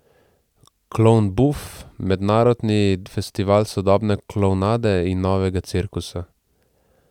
Klovnbuf, mednarodni festival sodobne klovnade in novega cirkusa.